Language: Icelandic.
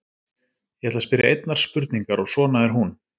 Ég ætla að spyrja einnar spurningar og svona er hún: